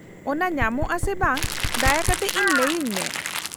-ᱚᱱᱟ ᱧᱟᱢᱚᱜᱼᱟ ᱥᱮ ᱵᱟᱝ ᱫᱟᱭᱟ ᱠᱟᱛᱮ ᱤᱧ ᱞᱟᱹᱭᱟᱹᱧ ᱢᱮ ᱾